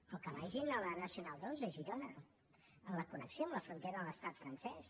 o que vagin a la nacional ii a girona a la connexió amb la frontera amb l’estat francès